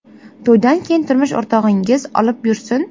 To‘ydan keyin turmush o‘rtog‘ingiz olib yursin”.